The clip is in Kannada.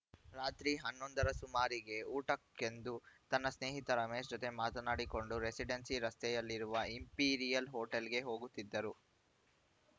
ರಾತ್ರಿ ಹನ್ನೊಂದರ ಸುಮಾರಿಗೆ ಊಟಕ್ಕೆಂದು ತನ್ನ ಸ್ನೇಹಿತ ರಮೇಶ್‌ ಜತೆ ಮಾತನಾಡಿಕೊಂಡು ರೆಸಿಡೆನ್ಸಿ ರಸ್ತೆಯಲ್ಲಿರುವ ಇಂಪಿರಿಯಲ್‌ ಹೋಟೆಲ್‌ಗೆ ಹೋಗುತ್ತಿದ್ದರು